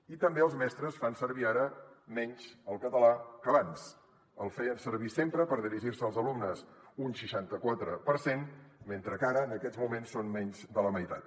i també els mestres fan servir ara menys el català que abans el feien servir sempre per dirigir se als alumnes un seixanta quatre per cent mentre que ara en aquests moments són menys de la meitat